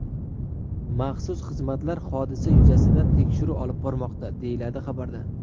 Maxsus xizmatlar hodisa yuzasidan tekshiruv olib bormoqda”, deyiladi xabarda.